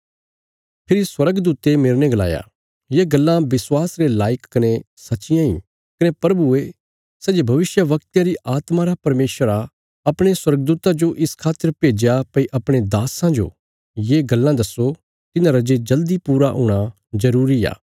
फेरी स्वर्गदूते मेरने गलाया ये गल्लां विश्वास रे लायक कने सच्चियां इ कने प्रभुये सै जे भविष्यवक्तयां री आत्मां रा परमेशर आ अपणे स्वर्गदूता जो इस खातर भेज्या भई अपणे दास्सां जो ये गल्लां दस्सो तिन्हांरा जे जल्दी पूरा हूणा जरूरी आ